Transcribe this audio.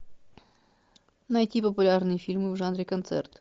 найти популярные фильмы в жанре концерт